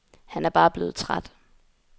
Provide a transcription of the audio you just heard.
Han er bare blevet træt.